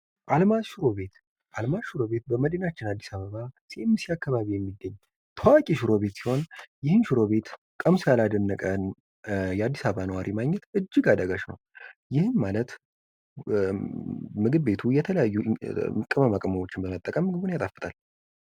አልማዝ ሽሮ ቤት ።አልማዝ ሽሮ ቤት በመዲናችን አዲስ አበባ አካባቢ የሚገኝ ታዋቂ ሽሮ ቤት ሲሆን ይህን ሽሮ ቤት ቀምሶ ያላደነቀ የአዲስ አበባ ነዋሪ ማግኘት እጅግ አዳጋች ነው። ይህ ማለት ምግብ ቤቱ የተለያዩ ቅመማ ቅመሞችን በመጠቀም ምግቡን ያጣፍጣል።